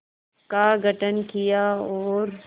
का गठन किया और